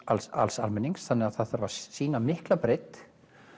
alls alls almennings þannig að það þarf að sýna mikla breidd